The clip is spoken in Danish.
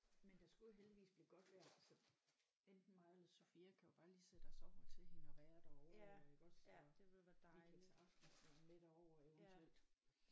Men der skulle jo heldigvis blive godt vejr så enten mig eller Sofia kan jo bare lige sætte os over til hende og være derovre iggås og vi kan tage aftensmad med derover eventuelt